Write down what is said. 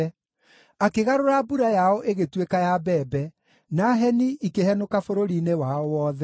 Akĩgarũra mbura yao ĩgĩtuĩka ya mbembe, na heni ikĩhenũka bũrũri-inĩ wao wothe;